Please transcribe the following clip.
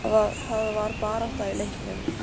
Það var barátta í leiknum.